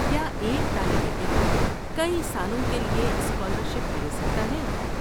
کیا ایک طالب علم کئی سالوں کے لیے اسکالرشپ لے سکتا ہے؟